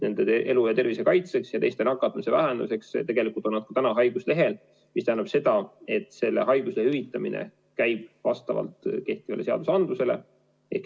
Nende elu ja tervise kaitseks ja teiste nakatumise vähendamiseks on nad haiguslehel, mis tähendab seda, et selle hüvitamine käib praegu vastavalt kehtivale seadusandlusele.